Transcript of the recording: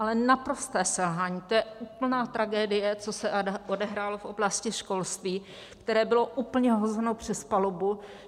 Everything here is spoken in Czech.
Ale naprosté selhání, to je úplná tragédie, co se odehrálo v oblasti školství, které bylo úplně hozeno přes palubu.